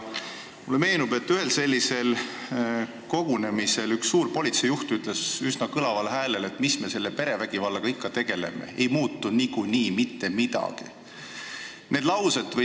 Mulle meenub, et ühel sellisel kogunemisel ütles üks kõrge politseijuht üsna kõlaval häälel, et mis me selle perevägivallaga ikka tegeleme, niikuinii ei muutu mitte midagi.